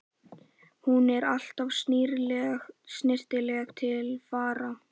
Hún er alltaf snyrtileg til fara.